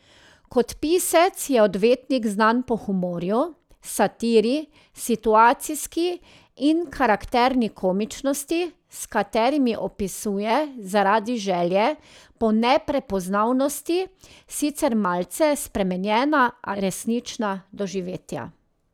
Kot pisec je odvetnik znan po humorju, satiri, situacijski in karakterni komičnosti, s katerimi opisuje zaradi želje po neprepoznavnosti sicer malce spremenjena, a resnična doživetja.